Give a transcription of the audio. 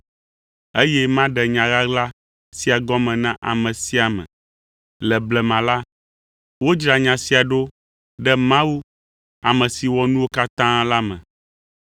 eye maɖe nya ɣaɣla sia gɔme na ame sia ame. Le blema la, wodzra nya sia ɖo ɖe Mawu, ame si wɔ nuwo katã la me.